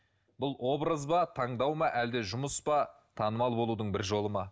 бұл образ ба таңдау ма әлде жұмыс па танымал болудың бір жолы ма